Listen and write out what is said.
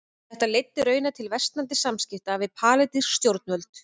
Þetta leiddi raunar til versnandi samskipta við palestínsk stjórnvöld.